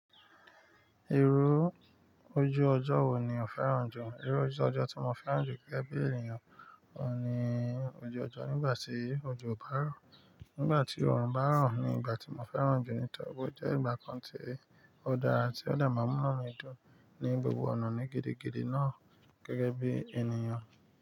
Irú ojú ọjọ́ wo ni o fẹ́ràn jù? Irú ojú ọjọ́ tí mo fẹ́ràn jù gẹ́gẹ́ bí ènìyàn ni ojú ọjọ́ nígbà tí òjò bá rọ̀. Nígbà tí òòrùn bá rọ̀ ni ìgbà tí mo fẹ́ràn jù nítorí ó jẹ́ ìgbà kan tí ó dára tí ó dà máa mú inu mi dùn ní gbogbo ọ̀nà ní gidigidi náà gẹ́gẹ́ bí ènìyàn.